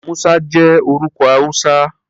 Musa jẹ́ orúkọ Hausa.